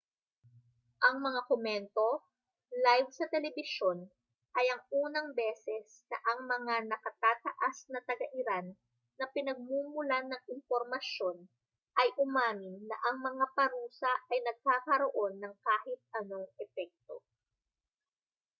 ang mga komento live sa telebisyon ay ang unang beses na ang mga nakatataas na taga-iran na pinagmumulan ng impormasyon ay umamin na ang mga parusa ay nagkakaroon ng kahit anong epekto